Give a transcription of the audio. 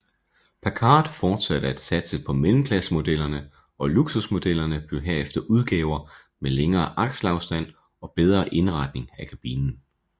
Packard fortsatte at satse på mellemklassemodellerne og luksusmodellerne blev herefter udgaver med længere akselafstand og bedre indretning af kabinen